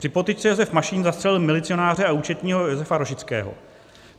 Při potyčce Josef Mašín zastřelil milicionáře a účetního Josefa Rošického.